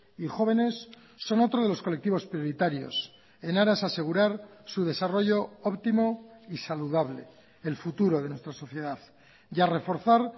y jóvenes son otro de los colectivos prioritarios en aras a asegurar su desarrollo óptimo y saludable el futuro de nuestra sociedad y a reforzar